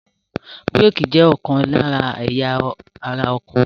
Bírèkì jẹ́ ọ̀kan lára ẹ̀yà ara ọkọ̀.